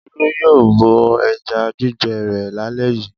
Olú yóò bọ ẹja gbígbẹ rẹ̀ lálẹ́ yìí.